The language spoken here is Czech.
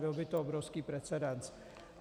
Byl by to obrovský precedent.